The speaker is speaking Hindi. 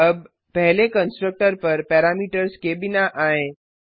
अब पहले कंस्ट्रक्टर पर पैरामीटर्स के बिना आएँ